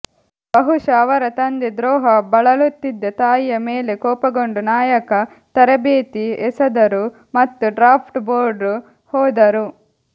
ಬಹುಶಃ ಅವರ ತಂದೆ ದ್ರೋಹ ಬಳಲುತ್ತಿದ್ದ ತಾಯಿಯ ಮೇಲೆ ಕೋಪಗೊಂಡು ನಾಯಕ ತರಬೇತಿ ಎಸೆದರು ಮತ್ತು ಡ್ರಾಫ್ಟ್ ಬೋರ್ಡ್ ಹೋದರು